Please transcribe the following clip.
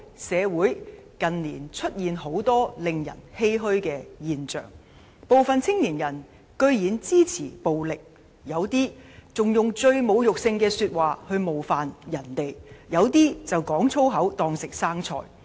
社會近年出現很多令人欷歔的現象：部分青年人居然支持暴力，有人以侮辱性言語冒犯他人，有人則"講粗口當食生菜"。